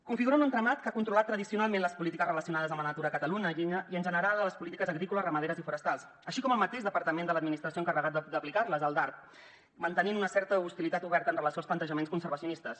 configuren un entramat que ha controlat tradicionalment les polítiques relacionades amb la natura a catalunya i en general les polítiques agrícoles ramaderes i forestals així com el mateix departament de l’administració encarregat d’aplicar les el darp que manté una certa hostilitat oberta amb relació als plantejaments conservacionistes